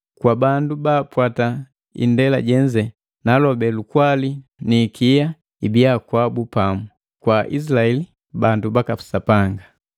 Kwa bandu bapwata indela jenze naalobe lukwali ni ikia ibiya kwabu pamu, kwa Aizilaeli bandu baka Sapanga.